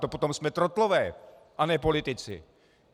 To potom jsme trotlové a ne politici!